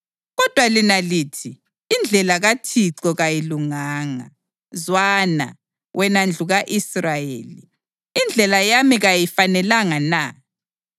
Kodwa lina lithi, ‘Indlela kaThixo kayilunganga.’ Zwana, wena ndlu ka-Israyeli: Indlela yami kayifanelanga na?